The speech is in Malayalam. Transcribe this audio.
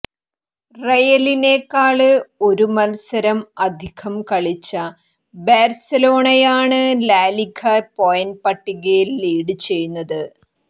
റയലിനേക്കാള് ഒരു മത്സരം അധികം കളിച്ച ബാര്സലോണയാണ് ലാലിഗ പോയിന്റ് പട്ടികയില് ലീഡ് ചെയ്യുന്നത്